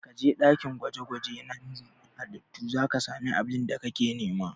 Ka je ɗakin gwaje-gwaje na nazarin halittu za ka samu abin da kake nema!